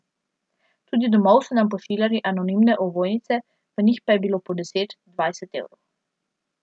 Tudi domov so nam pošiljali anonimne ovojnice, v njih pa je bilo po deset, dvajset evrov.